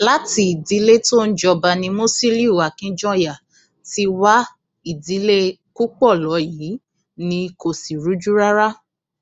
láti ìdílé tó ń jọba ni musiliu akijanya ti wá ìdílé kúpọlọyí ni kò sì rújú rárá